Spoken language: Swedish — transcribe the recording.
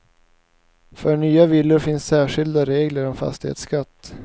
För nya villor finns särskilda regler om fastighetsskatt.